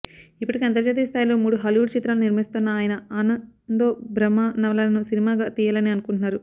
ఇప్పటికే అంతర్జాతీయ స్థాయిలో మూడు హాలీవుడ్ చిత్రాలు నిర్మిస్తోన్న ఆయన ఆనందో బ్రహ్మ నవలను సినిమాగా తీయాలని అనుకుంటున్నారు